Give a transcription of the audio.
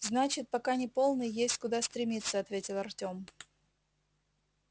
значит пока не полный есть куда стремиться ответил артём